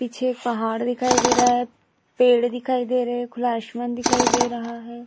पीछे ये पहाड़ दिखाई दे रहा है पेड़ दिखाई दे रहे है खुला असामान दिखाई दे रहा है।